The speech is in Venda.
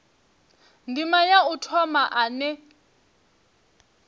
ndima ya u thoma ane